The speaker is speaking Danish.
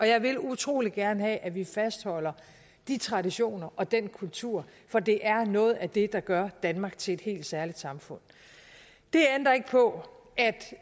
jeg vil utrolig gerne have at vi fastholder de traditioner og den kultur for det er noget af det der gør danmark til et helt særligt samfund det ændrer ikke på at